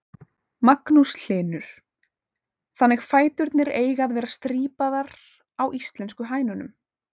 Magnús Hlynur: Þannig fæturnir eiga að vera strípaðar á íslensku hænunum?